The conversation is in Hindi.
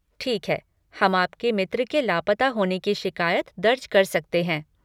ठीक है, हम आपके मित्र के लापता होने की शिकायत दर्ज कर सकते हैं।